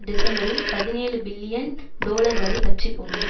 டிசம்பரில் பதினேழு பில்லியன் டொலர்வரை வற்றிப்போனது